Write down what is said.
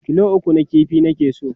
kilo 3 na ƙifi nake so